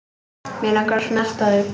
Mig langar að snerta þau.